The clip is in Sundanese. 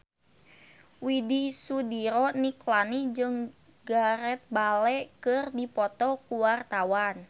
Widy Soediro Nichlany jeung Gareth Bale keur dipoto ku wartawan